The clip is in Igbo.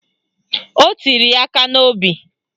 O tiri ya aka n'obi